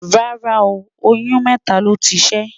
rárá o, oyún mẹta ló tí ṣé